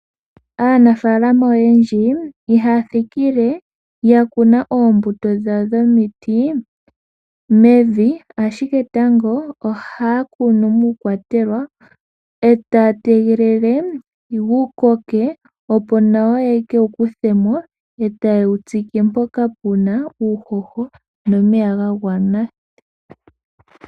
Aanafaalama oyendji ihaya thikile yakuna oombuto dhawo dhomiti mevi ashike tango ohaya kunu muukwatelwa etaya tegelele yi koke opo nawa ye keyi kuthemo eta yewu tsike mpoka puna uuhoho nomeya ga gwana.